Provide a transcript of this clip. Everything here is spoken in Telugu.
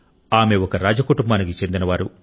ఆమె ఒక రాజ కుటుంబానికి చెందినవారు